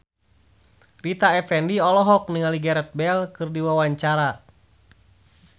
Rita Effendy olohok ningali Gareth Bale keur diwawancara